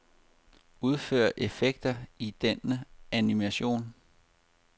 Udfør effekter i denne animation.